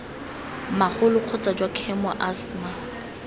magolo kgotsa jwa khemo asthma